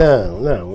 Não, não.